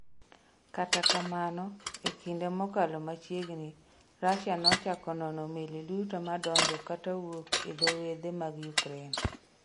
Kata kamano, e kinde mokalo machiegni, Russia nochako nono meli duto madonjo kata wuok e dho wedhe mag Ukraine.